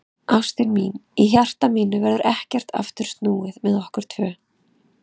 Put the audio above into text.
Ástin mín, í hjarta mínu verður ekkert aftur snúið með okkur tvö.